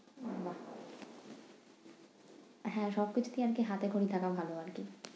বাহ! হ্যাঁ সব কিছুতেই আরকি হাতেখড়ি থাকা ভালো আরকি।